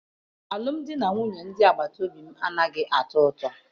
Alụmdi na nwunye ndị agbata obi m anaghị atọ ụtọ.